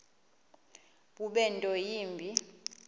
bube nto yimbi